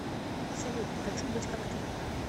салют хочу быть как ты